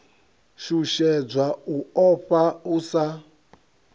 shushedzwa u ofha u sa